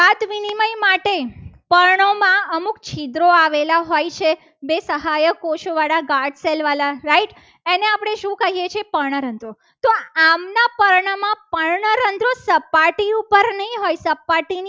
અમુક છિદ્રો આવેલા હોય છે. બે સહાયક કોષ વાળા guard shell વાળા right એને આપણે શું કહીએ છીએ. પણ રંધ્રો તો આમના પર્ણમાં પાણી પર્ણરંધ્ર સપાટી ઉપર ની નઈ હોય ની